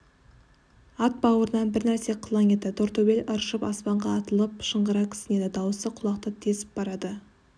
ат баурынан бір нәрсе қылаң етті тортөбел ыршып аспанға атылып шыңғыра кісінеді даусы құлақты тесіп барады